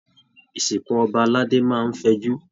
Ìsìnkú ọba aládé máa n fẹ'jù.